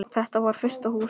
Þetta var fyrsta Húsið.